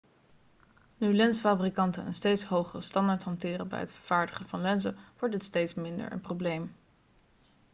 nu lensfabrikanten een steeds hogere standaard hanteren bij het vervaardigen van lenzen wordt dit steeds minder een probleem